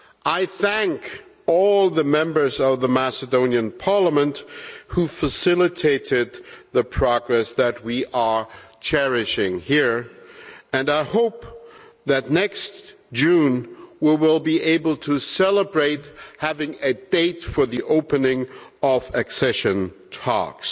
I thank all the members of the Macedonian Parliament who facilitated the progress that we are cherishing here, and I hope that next June we will be able to celebrate having a date for the opening of accession talks.